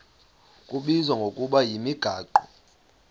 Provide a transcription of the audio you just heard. kubizwa ngokuba yimigaqo